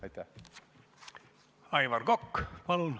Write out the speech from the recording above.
Aivar Kokk, palun!